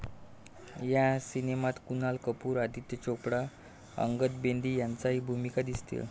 या सिनेमात कुणाल कपूर, आदित्य चोप्रा, अंगद बेदी यांच्याही भूमिका दिसतील.